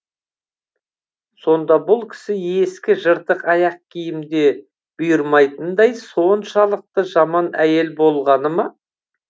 сонда бұл кісі ескі жыртық аяқ киім де бұйырмайтындай соншалықты жаман әйел болғаныма